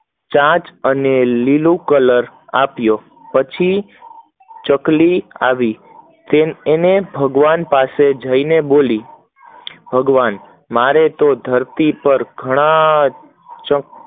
ચાંચ અને લીલો કલર આપ્યો, ચકલી આવી અને ભગવન પાસે જય બોલી, ભગવાન મને ધરતી પર ઘણાય